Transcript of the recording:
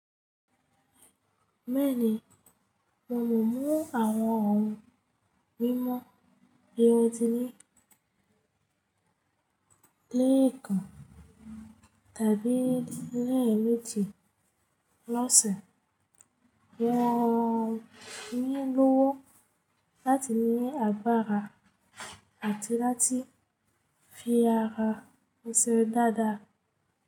Mẹ́ẹ̀ni, mo mọ mú àwọn ohun mímu erotínì lẹ́ẹ̀kan tàbí lẹ́ẹ̀méji lọ́sẹ̀. Wọn ń nílòwó láti ní agbára àti láti fi ara ẹsẹ̀ dáadáa.